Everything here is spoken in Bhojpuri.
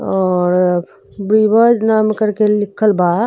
और नाम करके लिखल बा।